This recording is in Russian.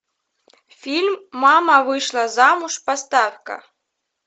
фильм мама вышла замуж поставь ка